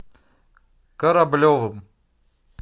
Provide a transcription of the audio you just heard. кораблевым